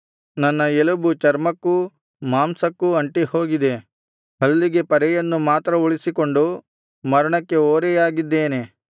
ನನ್ನ ಎಲುಬು ಚರ್ಮಕ್ಕೂ ಮಾಂಸಕ್ಕೂ ಅಂಟಿಹೋಗಿದೆ ಹಲ್ಲಿನ ಪರೆಯನ್ನು ಮಾತ್ರ ಉಳಿಸಿಕೊಂಡು ಮರಣಕ್ಕೆ ಓರೆಯಾಗಿದ್ದೇನೆ